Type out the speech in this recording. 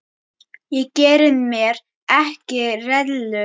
Ég geri mér ekki rellu.